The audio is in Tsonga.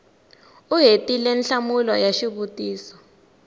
u hetile nhlamulo ya xivutiso